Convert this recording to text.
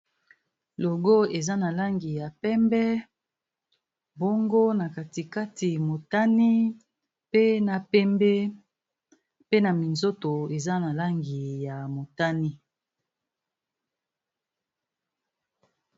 Logo eza na langi ya pembe, bongo na katikati motane, pe na pembe, pe na minzoto eza na langi ya motane.